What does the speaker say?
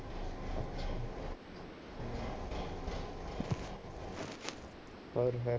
ਹੋਰ ਫਿਰ